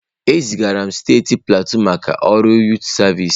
E zigara m steeti Pleateu maka ọrụ yụtụ sịvịsi.